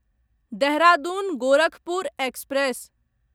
Dehradun Gorakhpur express